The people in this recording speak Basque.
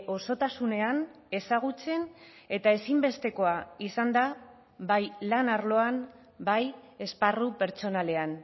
osotasunean ezagutzen eta ezinbestekoa izan da bai lan arloan bai esparru pertsonalean